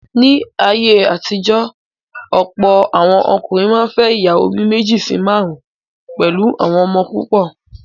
Ní ayé àtijọ́, ọ̀pọ̀ àwọn ọkùnrin máa n fẹ́ ìyàwó bí méjì sí márùn pẹ̀lú àwọn ọmọ púpọ̀